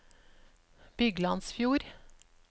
Byglandsfjord